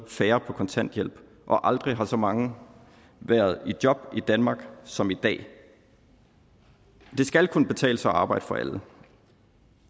færre på kontanthjælp og aldrig har så mange været i job i danmark som i dag det skal kunne betale sig at arbejde for alle